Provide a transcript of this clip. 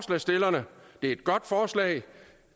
et godt forslag